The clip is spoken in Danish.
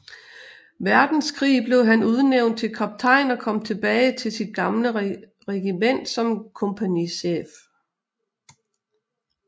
Verdenskrig blev han udnævnt til kaptajn og kom tilbage til sit gamle regiment som kompagnichef